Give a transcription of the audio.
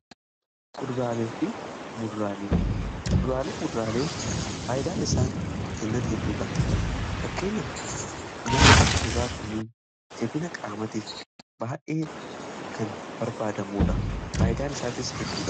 Kuduraalee Fi muduraaleen faayidaan isaan kennan hedduudha. Fakkeenyaf nyaanni kuduraa kun jabina qaamatiif baay'ee kan barbaadamuudha faayidaan isaatis hedduudha.